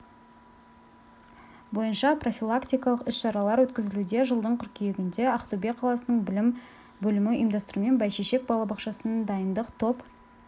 бойынша профилактикалық іс-шаралар өткізілуде жылдың қыркүйегінде ақтөбе қаласының білім бөлімі ұйымдастыруымен бәйшешек балабақшасының дайындық топ